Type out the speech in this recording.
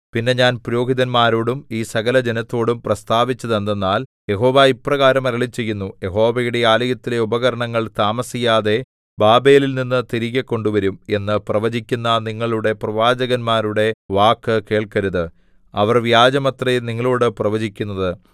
പിന്നെ ഞാൻ പുരോഹിതന്മാരോടും ഈ സകലജനത്തോടും പ്രസ്താവിച്ചതെന്തെന്നാൽ യഹോവ ഇപ്രകാരം അരുളിച്ചെയ്യുന്നു യഹോവയുടെ ആലയത്തിലെ ഉപകരണങ്ങൾ താമസിയാതെ ബാബേലിൽനിന്നു തിരികെ കൊണ്ടുവരും എന്ന് പ്രവചിക്കുന്ന നിങ്ങളുടെ പ്രവാചകന്മാരുടെ വാക്കു കേൾക്കരുത് അവർ വ്യാജമത്രേ നിങ്ങളോടു പ്രവചിക്കുന്നത്